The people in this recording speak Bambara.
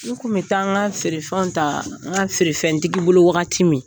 N tun bɛ taa n ka feerefɛnw ta n ka feerefɛntigi bolo wagati min